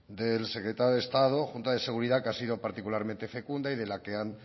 y el secretario de estado junta de seguridad que ha sido particularmente fecunda y de la que han